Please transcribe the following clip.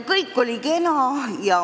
Kõik oli kena.